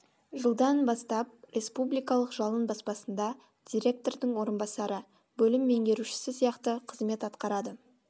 жылдан бастап республикалық жалын баспасында директордың орынбасары бөлім меңгерушісі сияқты қызмет атқарады